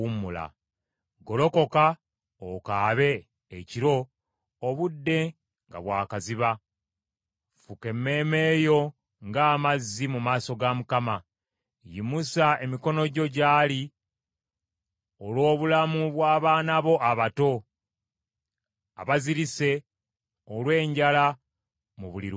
Golokoka, okaabe ekiro obudde nga bwa kaziba; Fuka emmeeme yo ng’amazzi mu maaso ga Mukama. Yimusa emikono gyo gy’ali, olw’obulamu bw’abaana bo abato abazirise olw’enjala mu buli luguudo.